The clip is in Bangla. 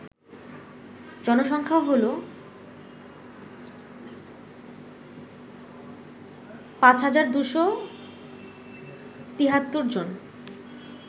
জনসংখ্যা হল ৫২৭৩ জন